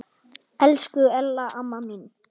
Elsku Ella amma mín.